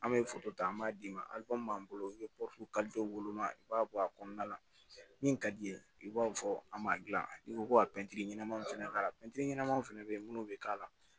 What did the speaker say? An bɛ ta an b'a d'i ma an bolo i bɛ woloman i b'a bɔ a kɔnɔna la min ka d'i ye i b'a fɔ an b'a dilan n'i ko ko ka pɛntiri ɲɛnama fana k'a la pɛntiri ɲɛnama fana bɛ yen minnu bɛ k'a la